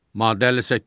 Maddə 58.